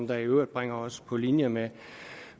der i øvrigt bringer os på linje med